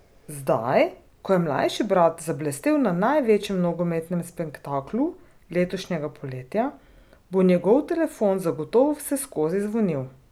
Zdaj, ko je mlajši brat zablestel na največjem nogometnem spektaklu letošnjega poletja, bo njegov telefon zagotovo vseskozi zvonil.